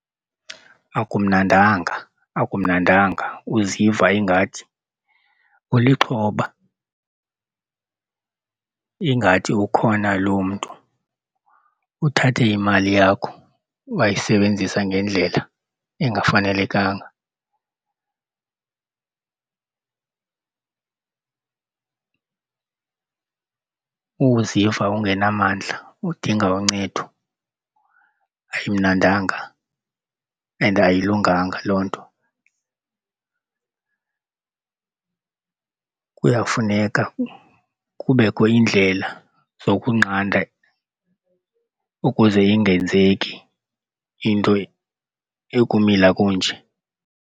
Akumnandanga, akumnandanga. Uziva ingathi ulixhoba ingathi ukhona lo mntu uthathe imali yakho wayisebenzisa ngendlela engafanelekanga. Uziva ungenamandla udinga uncedo, ayimnandanga and ayilunganga loo nto. Kuyafuneka kubekho iindlela zokunqanda ukuze ingenzeki into ekumila kunje.